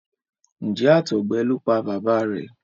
Njé àtọgbẹ ló pá bàbá rẹ?